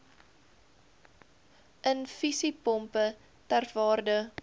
infusiepompe ter waarde